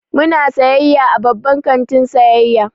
Muna sayayya a babban kantin sayayya.